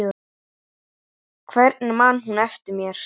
Hvernig man hún eftir mér?